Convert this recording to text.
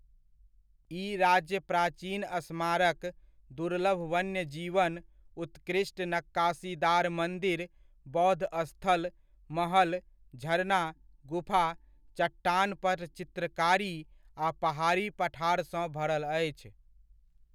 ई राज्य प्राचीन स्मारक, दुर्लभ वन्य जीवन, उत्कृष्ट नक्काशीदार मन्दिर, बौद्ध स्थल, महल, झरना, गुफा, चट्टान पर चित्रकारी आ पहाड़ी पठार सँ भरल अछि।